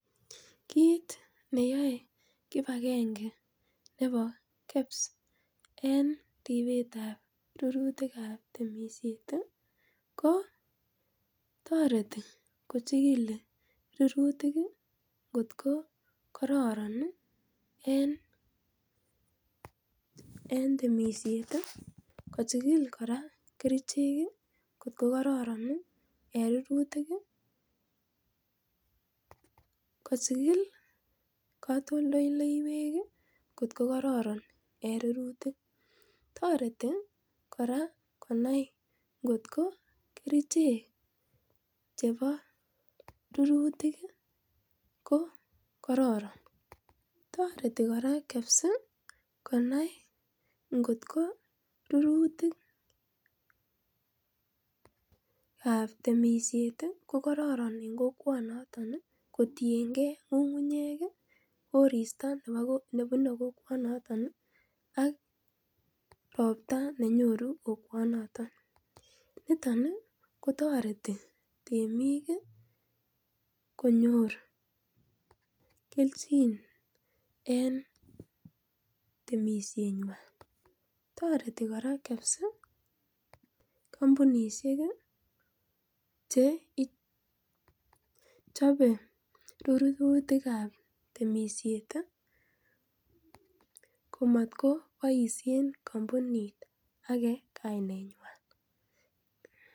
Kit neyae kibakenge nebo Kenya Bereue of statistics en ribsetab rurutik kab temisiet ih ko tareti kochigili rurutik kot ko kararan en temisiet ih kochikili kora kerichek ih kot ko kararan en rurutik. Kochikil katoltolleywek kotko kararan en Iingot ko kerichek ko kararan tareti kora Kenya Bureau of statistics kot ko rurrutikab temisiet ko kararan rurutik en imbaret noton ak korista nebune olaton ih ak robta nekonu kokwanaton amuun toreti temik ih konyor kelchin en temisiet nyuan. toreti kora Kenya Bureau of statistics ih kampunisiek ih chechabe rurutik kab temisiet ih komatkobaisien kampunit kaine nyuan